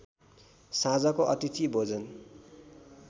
साँझको अतिथि भोजन